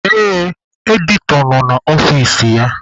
Ee, Editọ nọ n'ọfici ya.